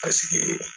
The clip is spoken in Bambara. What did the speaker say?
Paseke